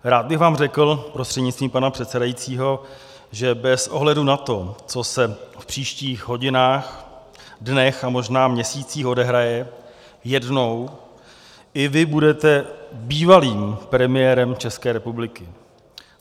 Rád bych vám řekl, prostřednictvím pana předsedajícího, že bez ohledu na to, co se v příštích hodinách, dnech a možná měsících odehraje, jednou i vy budete bývalým premiérem České republiky.